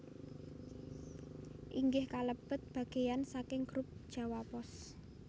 inggih kalebet bagéyan saking Grup Jawa Pos